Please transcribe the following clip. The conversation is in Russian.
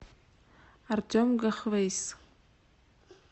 артем гахвейс